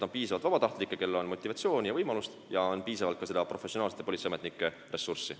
On piisavalt vabatahtlikke, kellel on motivatsiooni ja võimalusi, ja on piisavalt ka professionaalsete politseiametnike ressurssi.